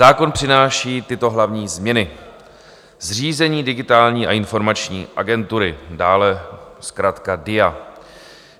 Zákon přináší tyto hlavní změny: Zřízení Digitální a informační agentury, dále zkratka DIA.